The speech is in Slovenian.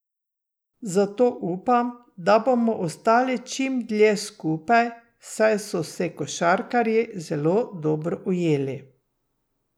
Zato upam, da bomo ostali čim dlje skupaj, saj so se košarkarji zelo dobro ujeli.